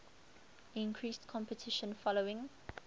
increased competition following